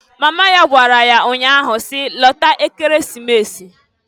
Mama ya gwara ya nya ahụ si, "Lata Ekeresimesi!"